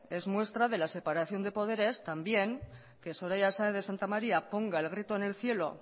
es muestra de la separación de poderes también que soraya sáez de santamaría ponga el grito en el cielo